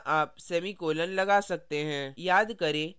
यह अंतिम स्थान है जहाँ आप semicolon लगा सकते हैं